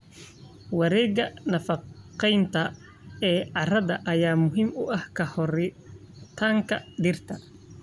Wareegga nafaqeynta ee carrada ayaa muhiim u ah koritaanka dhirta.